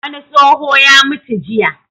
Wani tsoho ya mutu jiya.